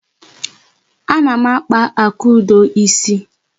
Ana m akpa Akudo isi.